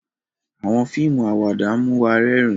Awọn fíìmù Àwàdà mú wá rẹrin